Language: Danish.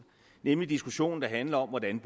nemlig den diskussion der handler om hvordan